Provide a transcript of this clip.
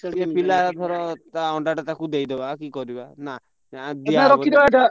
ପିଲା ଧର ତା ଅଣ୍ଡାଟା ତାକୁ ଦେଇଦବା କି କଣ କରିବା?